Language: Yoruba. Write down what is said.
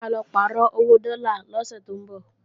Mo máa lọ pàrọ̀ owó dọ́là lọ́sẹ̀ tó ńbọ̀